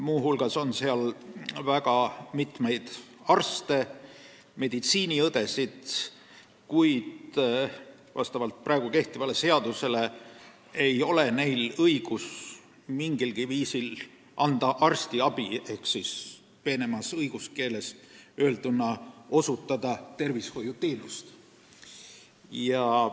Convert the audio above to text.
Muu hulgas kuulub liitu palju arste ja teisi meedikuid, kuid praegu kehtiva seaduse kohaselt ei ole neil õigust mingilgi viisil anda arstiabi ehk siis peenemas õiguskeeles öelduna osutada tervishoiuteenust.